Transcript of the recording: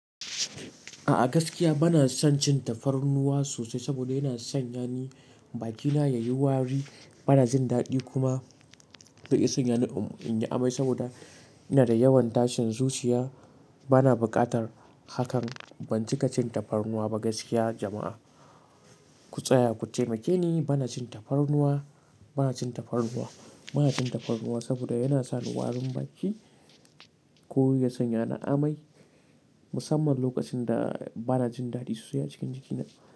A'a gaskiya bana son cin tafarnuwa sosai saboda yana sanya ni bakina yayi wari. Bana jin daɗi kuma zai iya sanya ni in yi amai saboda ina da yawan tashin zuciya bana buƙatar hakan. Ban cika cin tafarnuwa ba gaskiya jama'a. Ku tsaya ku taimake ni bana cin tafarnuwa, bana cin tafarnuwa, bana cin tafarnuwa saboda yana sa ni warin baki. Ko ya sanya ni amai, musamman lokacin da bana jin daɗi sosai a cikin jikina.